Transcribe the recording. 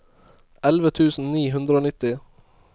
elleve tusen ni hundre og nitti